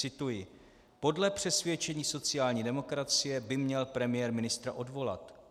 Cituji: Podle přesvědčení sociální demokracie by měl premiér ministra odvolat.